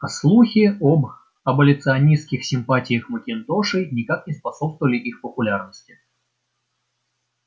а слухи об аболиционистских симпатиях макинтошей никак не способствовали их популярности